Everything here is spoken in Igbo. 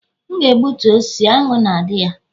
M ga-egbutu osisi, aṅụ na-adị na ya